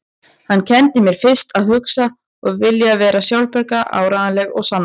Hann kenndi mér fyrst að hugsa, að vilja vera sjálfbjarga, áreiðanleg og sannorð.